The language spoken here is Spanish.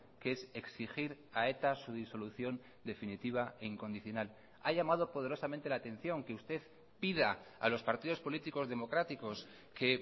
que es exigir a eta su disolución definitiva e incondicional ha llamado poderosamente la atención que usted pida a los partidos políticos democráticos que